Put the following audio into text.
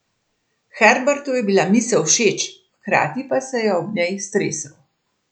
Herbertu je bila misel všeč, hkrati pa se je ob njej stresel.